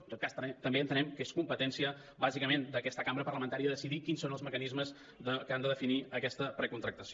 en tot cas també entenem que és competència bàsicament d’aquesta cambra parlamentària decidir quins són els mecanismes que han de definir aquesta precontractació